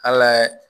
Hal'a